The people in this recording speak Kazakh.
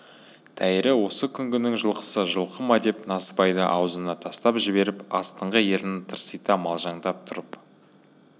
тәйірі осы күнгінің жылқысы жылқы ма деп насыбайды аузына тастап жіберіп астыңғы ернін тырсита малжаңдап тұрып